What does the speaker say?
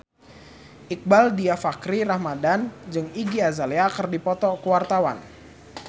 Iqbaal Dhiafakhri Ramadhan jeung Iggy Azalea keur dipoto ku wartawan